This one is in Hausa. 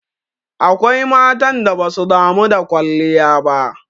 Akwai matan da basu damu da kwalliya ba.